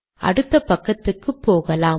அடுத்த பக்கத்துக்கு போகலாம்